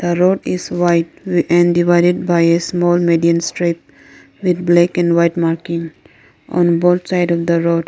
the road is wide and divided by a small medium straight with black and white marking on both side of the roads.